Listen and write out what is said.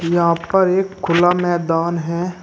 यहां पर एक खुला मैदान है।